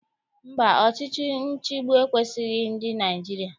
Mba, ọchịchị nchịgbu ekwesighị ndị Naịjirịa.